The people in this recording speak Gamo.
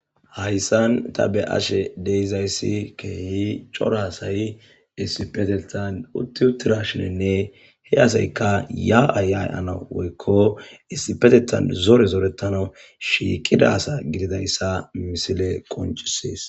hayssan ta beashe deizayssi keeyi corasay isipetetan utti uttirashinenne he asayka yaa7ay ya7ana woykko istipetetan zore zoretano shiiqida sa gididayssa misile qonchisees